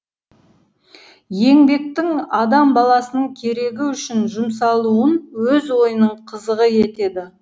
еңбектің адам баласының керегі үшін жұмсалуын өз ойының қызығы етеді